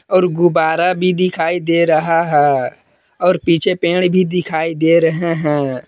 और गुब्बारा भी दिखाई दे रहा है और पीछे पेड़ भी दिखाई दे रहे हैं।